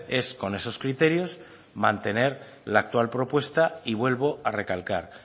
es con esos criterios mantener la actual propuesta y vuelvo a recalcar